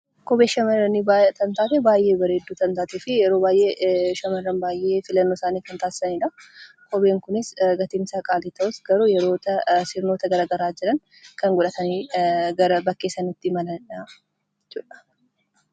Kophee shamarranii baay'ee bareeddu kan taateefi yeroo baay'ee shamarran filannoo isaanii kan taasisanidha. Kopheen kunis gatiin isaa qaalii ta'us sirnoota garaa garaa jiran godhatanii gara bakkee sanatti imalanidha jechuudha.